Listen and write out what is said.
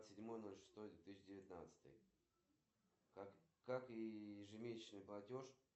афина что характерно для кратеров которые имеют диаметр больше двадцати шести километров